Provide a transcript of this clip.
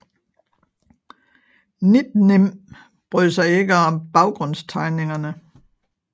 NiDNiM brød sig ikke om baggrundstegningerne